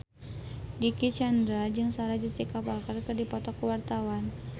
Dicky Chandra jeung Sarah Jessica Parker keur dipoto ku wartawan